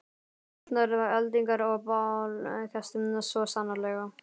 Skrýtnar eldingar og bálkesti, svo sannarlega.